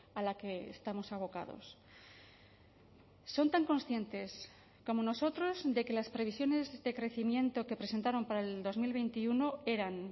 a la que estamos abocados son tan conscientes como nosotros de que las previsiones de crecimiento que presentaron para el dos mil veintiuno eran